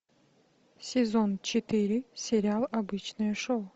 сезон четыре сериал обычное шоу